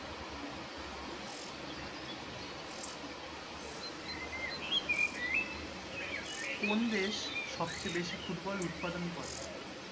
কোন দেশ সবচেয়ে বেশি ফুটবল উৎপাদন করে?